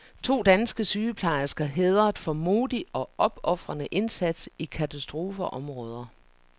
To danske sygeplejersker hædret for modig og opofrende indsats i katastrofeområder.